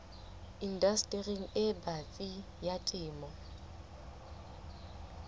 indastering e batsi ya temo